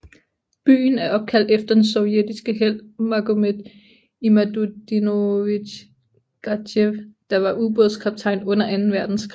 Byen er opkaldt efter den sovjetiske helt Magomet Imadutdinovich Gadzhiev der var ubådskaptajn under anden verdenskrig